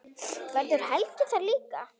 Verður Helgi þar líka?